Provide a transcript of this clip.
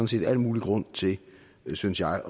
set al mulig grund til synes jeg